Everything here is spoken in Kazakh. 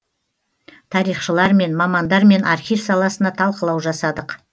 тарихшылармен мамандармен архив саласына талқылау жасадық